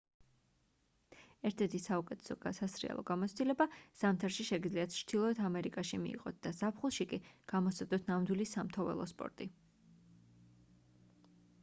ერთ-ერთი საუკეთესო სასრიალო გამოცდილება ზამთარში შეგიძლიათ ჩრდილოეთ ამერიკაში მიიღოთ და ზაფხულში კი გამოსცადოთ ნამდვილი სამთო ველოსპორტი